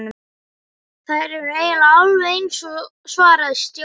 Þær eru eiginlega alveg eins svaraði Stjáni.